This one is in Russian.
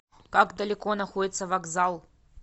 как далеко находится вокзал